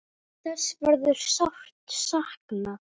Þess verður sárt saknað.